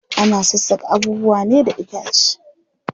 Ana sassaka abubuwa ne da itace.